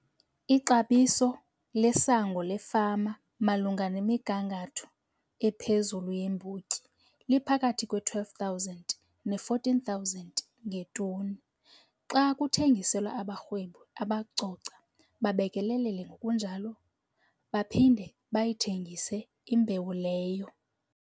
Ixabiso lesango lefama malunga nemigangatho ephezulu yeembotyi liphakathi kwe-R12 000 ne-R14 000 ngetoni xa kuthengiselwa abarhwebi abacoca, babekelele ngokunjalo baphinde bayithengise imbewu leyo.